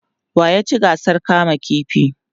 wa ya ci gasar kama ƙifi?